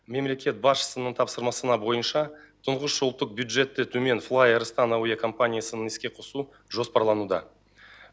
мемлекет басшысының тапсырмасына бойынша тұңғыш ұлттық бюджеті төмен флай арыстан авиакомпаниясын іске қосу жоспарлануда